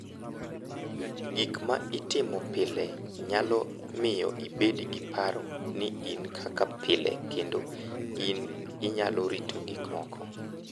Gik ma itimo pile nyalo miyo ibed gi paro ni in kaka pile kendo ni inyalo rito gik moko.